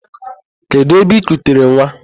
Kedu ebe I kutere nwa?